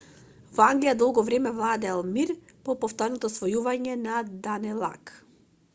во англија долго време владеел мир по повторното освојување на данелаг